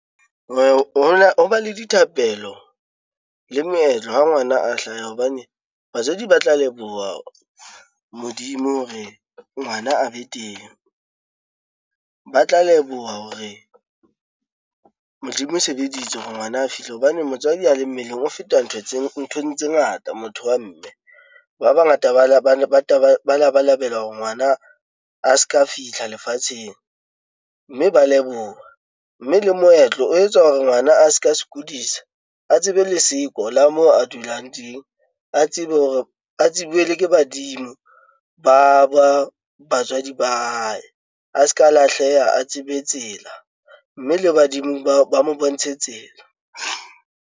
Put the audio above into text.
Ho ba le dithapelo le moetlo ha ngwana a hlaha, hobane batswadi ba tla leboha Modimo hore ngwana a be teng. Ba tla leboha hore Modimo o sebeditse hore ngwana a fihle, hobane motswadi a le mmeleng o feta ntho tse nthong tse ngata motho wa mme. Ba bangata ba ba labalabela hore ngwana a se ka fihla lefatsheng, mme ba leboha mme le moetlo o etsa hore ngwana a se ka sokodisa a tsebe leseko la moo a dulang teng. A tsebe hore a tsebuwe Le ke badimo ba ba batswadi ba hae a se ka lahleha a tsebe tsela, mme le badimo ba ba mo bontshe tsela.